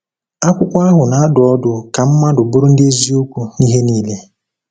Akwụkwọ ahụ na-adụ ọdụ ka mmadụ bụrụ ndị eziokwu n’ihe niile.